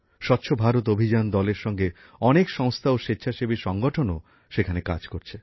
স্বচ্ছ ভারত অভিযান দলএর সঙ্গে অনেক সংস্থা ও স্বেচ্ছাসেবী সংগঠণও সেখানে কাজ করছে